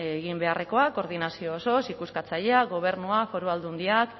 egin beharrekoa koordinazio osoaz ikuskatzailea gobernua foru aldundiak